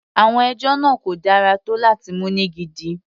Àwọn ẹjọ́ náà kò dára tó láti mú ní gidi.